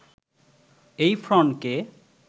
এই ফ্রন্টকে